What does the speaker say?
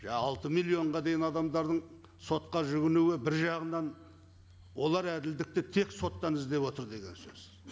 иә алты миллионға дейін адамдардың сотқа жүгінуі бір жағынан олар әділдікті тек соттан іздеп отыр деген сөз